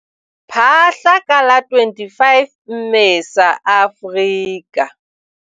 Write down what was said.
Phaahla, ka la 25 Mmesa, Afrika.